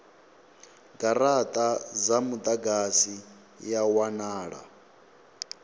garata dza mudagasi ya wanala